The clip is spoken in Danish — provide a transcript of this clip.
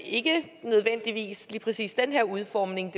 ikke nødvendigvis lige præcis den her udformning